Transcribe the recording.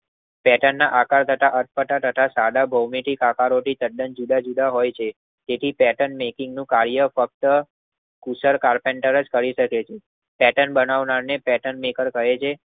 Pattern ના આકાર કરતા અટપટા સદા ભૌમિતિક આકારો થી એકદમ જુદા જુદા હોય છે તેથી પેટર્ન નું કાર્ય ફક્ત કુતર કાર પેન્ટર જ કરી શકે છે.